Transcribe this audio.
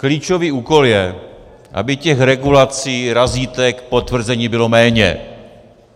Klíčový úkol je, aby těch regulací, razítek, potvrzení bylo méně.